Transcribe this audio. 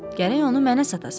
Gərək onu mənə satasan.